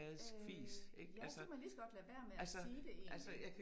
Øh ja så kan man ligeså godt lade være med at sige det egentlig